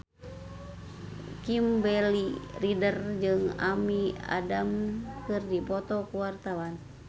Kimberly Ryder jeung Amy Adams keur dipoto ku wartawan